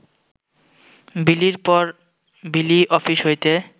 বিলির পর বিলি অফিস হইতে